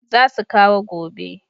Za su kawo gobe